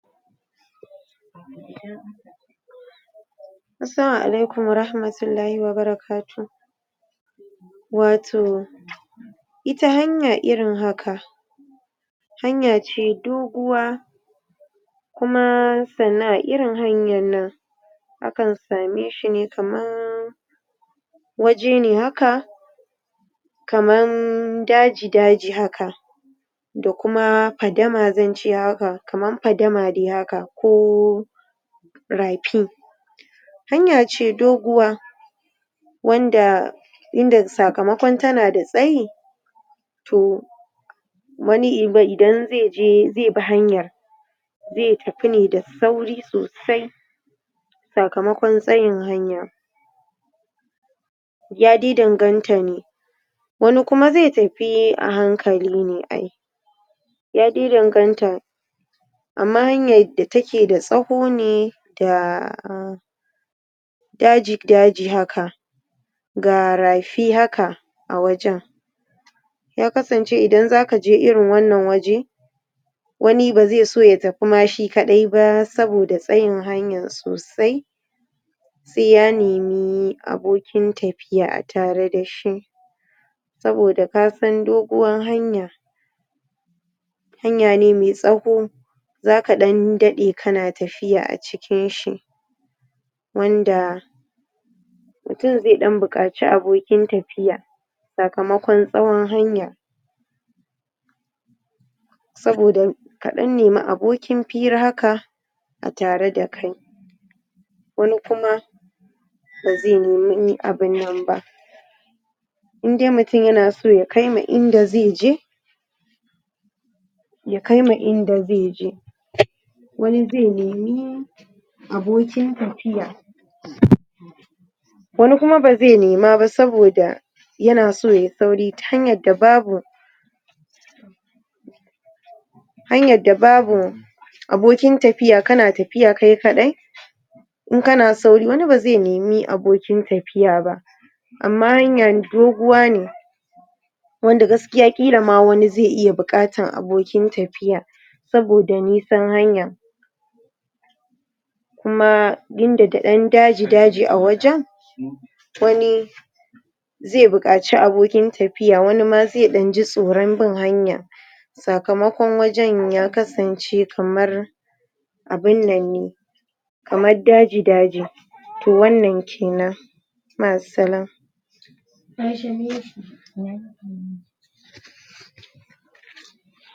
Asalama alaikum, rahamatullahi ma barakatu wato ita hanya irin haka hanya ce doguwa kuma sannan a irin hanyan nan akan same shi ne, kaman waje ne haka kaman daji daji haka da kuma fadama zan ce haka, kaman fadama dai haka ko rafi hanya ce doguwa wanda inda sakamakon ta na da tsayi toh wani iban, idan zai je, zai bi hanyar zai tafi ne da sauri sosai sakamakon tsayin hanyan ya dai danganta ne wani kuma zai tafi a hankali ne ai ya dai danganta ama hanyan da take da tsawo ne da daji daji haka ga rafi haka a wajen ya kasance idan za ka je irin wannan waje wani, be zai so ya tafi ma shi kadai ba saboda tsayin hanyan sosai sai ya nimi abokin tafiya a tare da shi saboda ka san doguwan hanya hanya ne mai tsawo za ka dan dadde ka na tafiya a cikin shi wanda mutum zai dan bukance abokin tafiya sakamakon tsawon hanya saboda ka dan nima abokin hira haka a tare da kai wani kuma ba zai nima wani abun nan ba indai mutum ya na so ya kai mu inda zai je ya kai mu inda zai je wani zai nimi abokin tafiya wani kuma ba zai nima ba saboda ya na so ya yi sauri ta hanyar da babu hanyar da babu abokin tafiya, ka na tafiya kai kadai in ka na sauri, wani ba zai nimi abokin tafiya ba ama hanyan doguwa ne wanda gaskiya, kila ma wani zai iya bukatan abokin tafiya saboda nisan hanya kuma inda da dan daji daji a wajen wani zai bukace abokin tafiya, wani ma zai dan ji tsoron bin hanyan sakamako wajen ya kasance kamar abun nan ne kaman daji daji toh wannan kenan ma'asallam